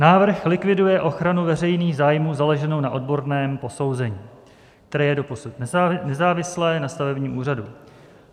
Návrh likviduje ochranu veřejných zájmů založenou na odborném posouzení, které je doposud nezávislé na stavebním úřadu.